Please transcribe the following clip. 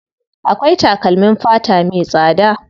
Akwai takalmin fata me tsada.